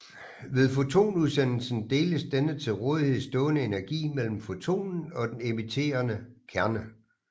Ved fotonudsendelsen deles den til rådighed stående energi mellem fotonen og den emitterende kerne